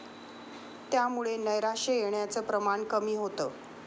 त्यामुळे नैराश्य येण्याचं प्रमाण कमी होतं.